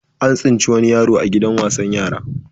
An tsinci wani yaroa gidan wasan yara.